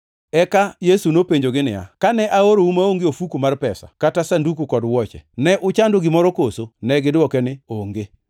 Eka Yesu nopenjogi niya, “Kane aorou maonge ofuku mar pesa, kata sanduku kod wuoche, ne uchando gimoro koso?” Negidwoko niya, “Onge.”